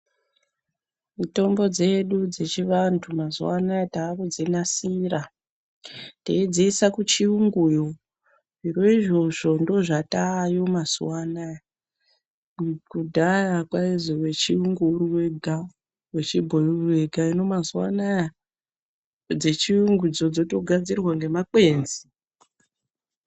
Mitombo dzedu dzechiantu mazuvano takudzi nasira ,teidziisa kuchiyunguyo zviro izvozvo ndozvatoyo mazuva anaya, kudhaya kwainzi wechiyungu uri wega wechiboyi uri wega ,hino mazuva anaya dzechiyungudzo dzotogadzirwa nemakwenzi.